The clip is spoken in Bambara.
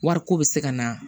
Wariko bɛ se ka na